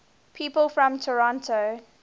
people from toronto